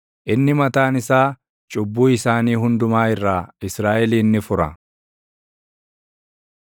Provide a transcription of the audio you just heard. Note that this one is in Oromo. Inni mataan isaa cubbuu isaanii hundumaa irraa Israaʼelin ni fura.